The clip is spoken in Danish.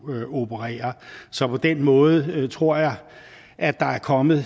operere så på den måde tror jeg at der er kommet